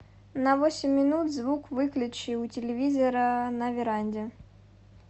на восемь минут звук выключи у телевизора на веранде